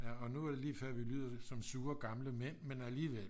ja og nu er det lige før vi lyder som sure gamle mænd men alligevel